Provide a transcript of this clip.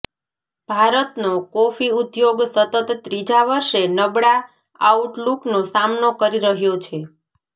ભારતનો કોફી ઉદ્યોગ સતત ત્રીજા વર્ષે નબળા આઉટલૂકનો સામનો કરી રહ્યો છે